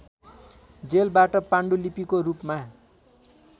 जेलबाट पाण्डुलिपिको रूपमा